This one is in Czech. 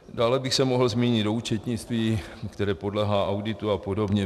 Dále bych se mohl zmínit o účetnictví, které podléhá auditu a podobně.